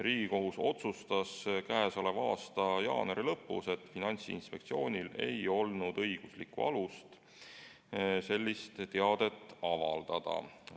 Riigikohus otsustas tänavu jaanuari lõpus, et Finantsinspektsioonil ei olnud õiguslikku alust sellist teadet avaldada.